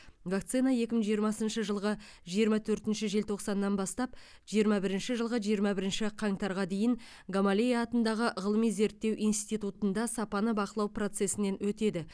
вакцина екі мың жиырмасыншы жылғы жиырма төртінші желтоқсаннан бастап жиырма бірінші жылғы жиырма бірінші қаңтарға дейін гамалея атындағы ғылыми зерттеу институтында сапаны бақылау процесінен өтеді